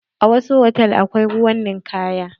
A wasu hotal akwai ruwan ninkaya.